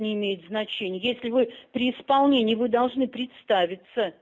не имеет значения если вы при исполнении вы должны представиться